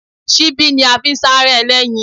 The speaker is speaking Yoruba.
Ṣíbí ni a fi ń sárẹ́ ẹlẹ́yin